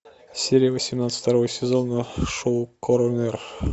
серия восемнадцать второго сезона шоу коронер